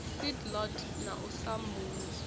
seed lot na u sambuluswa